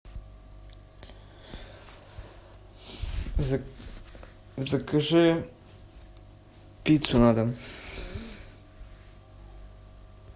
закажи пиццу на дом